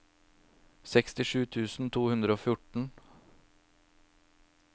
sekstisju tusen to hundre og fjorten